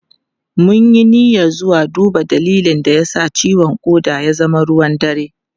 Mun yi niyyar zuwa duba dalilin da ya sa ciwon koda ya zama ruwan dare.